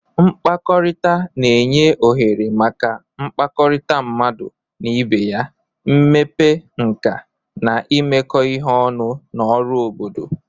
Mkpakọrịta na-enye ohere maka mmekọrịta mmadụ na ibe ya, mmepe nka, na imekọ ihe ọnụ na ọrụ obodo.